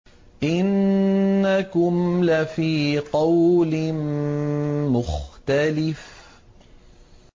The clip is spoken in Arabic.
إِنَّكُمْ لَفِي قَوْلٍ مُّخْتَلِفٍ